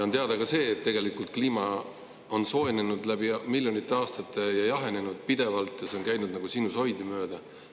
On teada ka see, et tegelikult kliima on soojenenud miljonite aastate jooksul ja ka jahenenud pidevalt, see on käinud nagu sinusoidi mööda.